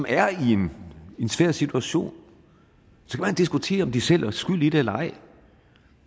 er i en svær situation og diskutere om de selv er skyld i det eller ej